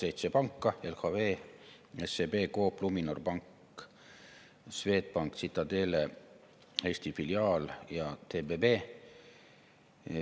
Seitse panka: LHV, SEB, Coop, Luminor, Swedbank, Citadele Eesti filiaal ja TBB.